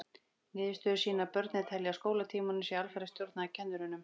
Niðurstöður sýna að börnin telja að skólatímanum sé alfarið stjórnað af kennurunum.